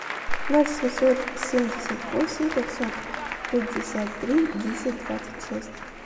ноль семьсот семьдесят восемь пятьсот пятьдесят три десять двадцать шесть